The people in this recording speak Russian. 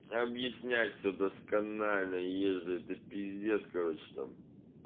объяснять все досконально ей же это пиздец короче там